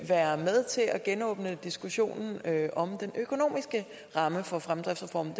være med til at genåbne diskussionen om den økonomiske ramme for fremdriftsreformen